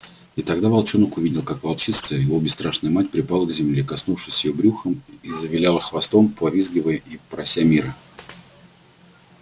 и тогда волчонок увидел как волчица его бесстрашная мать припала к земле коснувшись её брюхом и завиляла хвостом повизгивая и прося мира